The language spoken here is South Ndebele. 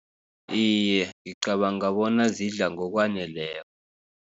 Iye, ngicabanga bona zidla ngokwaneleko.